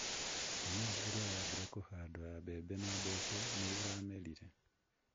Mĩmera ĩrĩa yaambire kũhandwo ya mbembe na mboco nĩ ĩramerire.